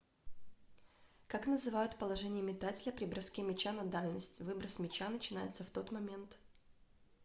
как называют положение метателя при броске мяча на дальность выброс мяча начинается в тот момент